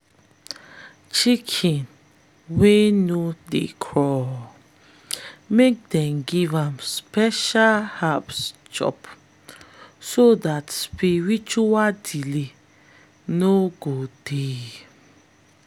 chicken wey no dey crow make them give am special herbs chop so dat spiritual delay no go dey.